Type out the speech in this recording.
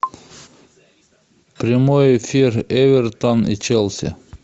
прямой эфир эвертон и челси